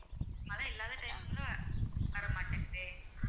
மழை இல்லாத time ல வர மாட்டேங்குதே